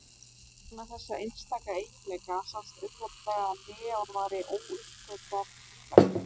vegna þessa einstaka eiginleika sást auðveldlega að neon væri óuppgötvað frumefni